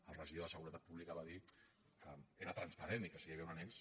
el regidor de seguretat pública va dir que era transparent i que si hi havia un annex